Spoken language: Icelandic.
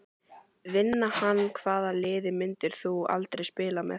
Vinna hann Hvaða liði myndir þú aldrei spila með?